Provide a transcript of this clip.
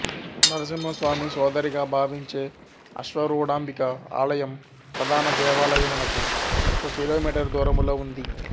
నరసింహస్వామి సోదరిగా భావించే అశ్వరూడాంభిక ఆలయం ప్రధాన దేవాలయమునకు ఒక కిలోమీటరు దూరములో ఉంది